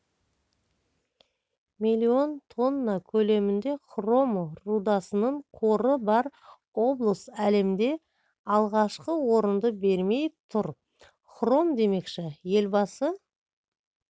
миллион тонна көлемінде хром рудасының қоры бар облыс әлемде алғашқы орынды бермей тұр хром демекші елбасы